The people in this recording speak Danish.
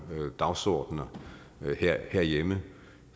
dagsordener herhjemme